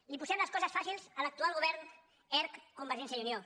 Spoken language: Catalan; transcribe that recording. li posem les coses fàcils a l’actual govern erc convergència i unió